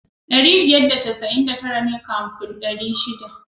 Ɗari biyar da casa'in da tara ne kafin ɗari shiɗa.